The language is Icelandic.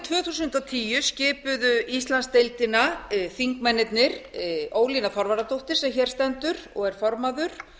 þúsund og tíu skipuðu íslandsdeildina þingmennirnir ólína þorvarðardóttir sem hér stendur og er formaður